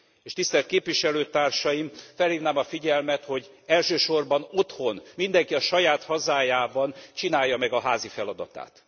És, tisztelt Képviselőtársaim, felhívnám a figyelmet, hogy elsősorban otthon, mindenki a saját hazájában csinálja meg a házi feladatát.